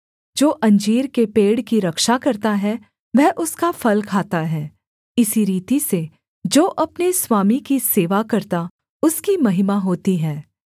जो अंजीर के पेड़ की रक्षा करता है वह उसका फल खाता है इसी रीति से जो अपने स्वामी की सेवा करता उसकी महिमा होती है